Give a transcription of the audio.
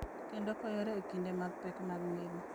Kendo konyore e kinde mag pek mag ngima.